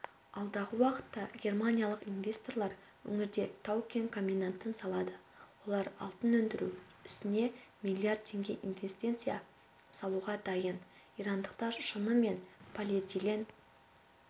алдағы уақытта германиялық инвесторлар өңірде тау-кен комбинатын салады олар алтын өндіру ісіне миллиард теңге инвестиция салуға дайын ирандықтар шыны мен полиэтилен